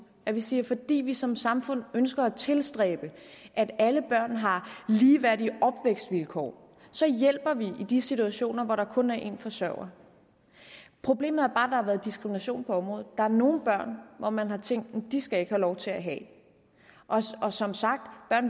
at vi siger at fordi vi som samfund ønsker at tilstræbe at alle børn har ligeværdige opvækstvilkår så hjælper vi i de situationer hvor der kun er en forsørger problemet er bare at været diskrimination på området der er nogle børn hvor man har tænkt at de ikke skal have lov til at have det og og som sagt